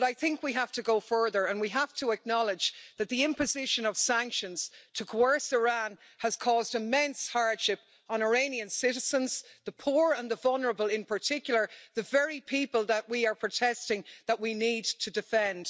But I think we have to go further and we have to acknowledge that the imposition of sanctions to coerce Iran has caused immense hardship on Iranian citizens and the poor and the vulnerable in particular the very people that we are protesting that we need to defend.